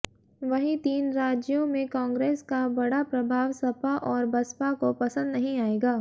वहीं तीन राज्यों में कांग्रेस का बढ़ा प्रभाव सपा और बसपा को पसंद नहीं आएगा